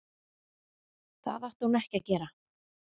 Það átti hún ekki að gera.